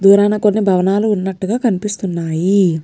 దూరాన కొన్ని భవనాలు ఉన్నట్లుగా కనిపిస్తున్నాయి.